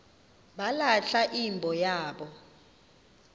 balahla imbo yabo